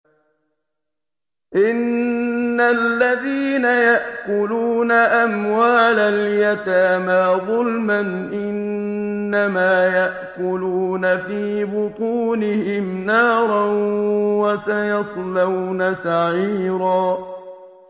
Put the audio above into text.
إِنَّ الَّذِينَ يَأْكُلُونَ أَمْوَالَ الْيَتَامَىٰ ظُلْمًا إِنَّمَا يَأْكُلُونَ فِي بُطُونِهِمْ نَارًا ۖ وَسَيَصْلَوْنَ سَعِيرًا